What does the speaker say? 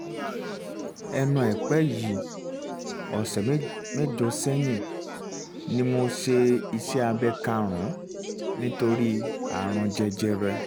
lẹ́nu àìpẹ́ yìí (ọ̀sẹ̀ mẹ́jọ sẹ́yìn) ni mo um ṣe iṣẹ́ abẹ karùn-ún um nítorí ààrùn jẹjẹrẹ